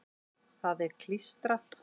Það er klístrað.